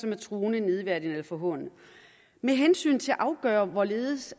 er truende nedværdigende eller forhånende med hensyn til at afgøre hvorledes